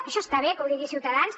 això està bé que ho digui ciutadans